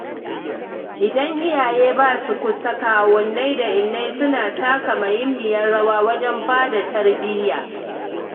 Idan iyaye ba su kusa, kawunnai da innai suna taka muhimmiyar rawa wajen bada tarbiyya.